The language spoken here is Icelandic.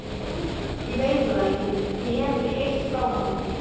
Ég veit það ekki, ég hef ekkert heyrt frá honum.